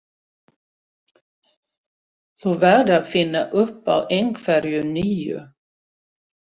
Þú verður að finna upp á einhverju nýju.